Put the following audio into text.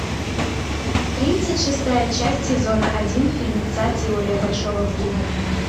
тридцать шестая часть сезона один фильмеца теория большого взрыва